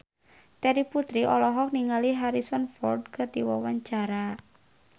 Terry Putri olohok ningali Harrison Ford keur diwawancara